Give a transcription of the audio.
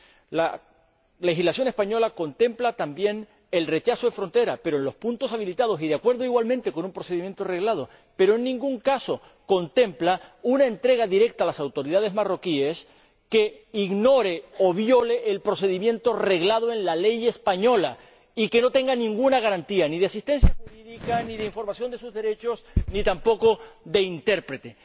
La legislación española contempla también el rechazo en frontera, pero en los puntos habilitados y de acuerdo —igualmente— con un procedimiento reglado, pero en ningún caso contempla una entrega directa a las autoridades marroquíes que suponga ignorar o violar el procedimiento reglado en la Ley española y que no ofrezca ninguna garantía, ni de asistencia jurídica, ni de información de sus derechos, ni tampoco de intérprete.